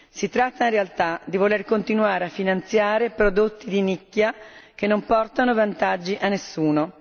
Si tratta in realtà di voler continuare a finanziare prodotti di nicchia che non portano vantaggi a nessuno.